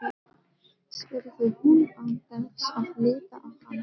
spurði hún án þess að líta á hann.